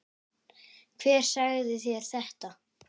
Hver sagði þér þetta?